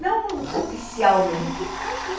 Não oficialmente, mas sim.